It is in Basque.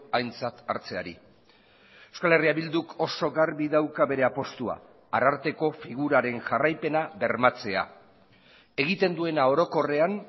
aintzat hartzeari euskal herria bilduk oso garbi dauka bere apustua ararteko figuraren jarraipena bermatzea egiten duena orokorrean